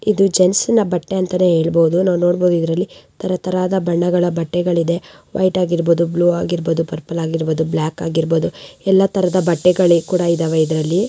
ಇದು ಜೆಂಟ್ಸ್ನ ಬಟ್ಟೆ ಅಂತಾನೆ ಹೇಳಬಹುದು. ನಾವು ನೋಡಬಹುದು ಇದರಲ್ಲಿ ತರ ತರಹದ ಬಣ್ಣದ ಬಟ್ಟೆಗಳಿದೆ. ವೈಟ್ ಆಗಿರ್ಬಹುದು ಬ್ಲೂ ಆಗಿರ್ಬಹುದು ಪರ್ಪಲ್ ಆಗಿರಬಹುದು ಬ್ಲಾಕ್ ಆಗಿರಬಹುದು ಎಲ್ಲ ತರದ ಬಟ್ಟೆಗಳು ಕೂಡ ಇದಾವೆ ಇದ್ರಲ್ಲಿ.